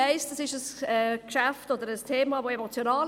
Aber auf zwei Dinge möchte ich noch zu sprechen kommen.